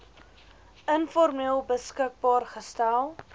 informeel beskikbaar gestel